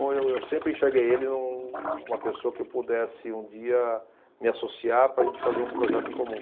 Eu, eu sempre enxerguei ele, um, uma pessoa que eu pudesse um dia me associar para a gente fazer um projeto em comum.